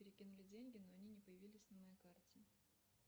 перекинули деньги но они не появились на моей карте